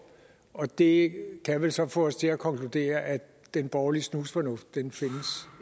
og det kan vel så få os til at konkludere at den borgerlige snusfornuft